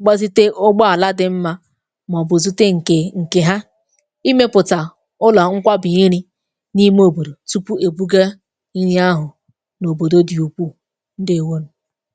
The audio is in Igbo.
gbazite ụgbọ àla dị mmȧ mà ọ̀bù zute ǹkè ǹkè ha, i mepụ̀tà ụla ngwabị iri n’ime òbòdò tupu èbuga nni ahụ̀ n’òbòdo dị ukwù, ndewonù.